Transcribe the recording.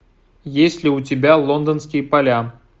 есть ли у тебя лондонские поля